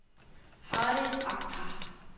Harriet Akhtar